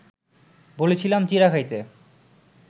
বলেছিলাম চিঁড়া খাইতে